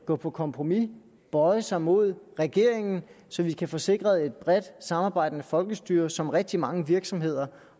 gå på kompromis at bøje sig mod regeringen så vi kan få sikret et bredt samarbejdende folkestyre som rigtig mange virksomheder